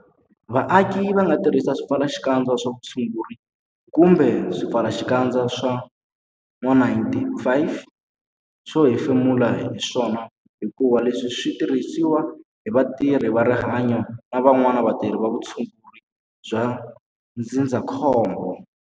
Vaaki va nga tirhisi swipfalaxikandza swa vutshunguri kumbe swipfalaxikandza swa N-95 swo hefemula hi swona hikuva leswi swi tirhisiwa hi vatirhi va rihanyo na vanwana vatirhi va vutshunguri bya ndzindzakhombo.